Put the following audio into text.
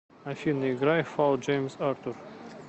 афина играй фолл джеймс артур